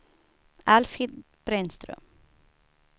Alfhild Brännström